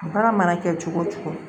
Baara mana kɛ cogo o cogo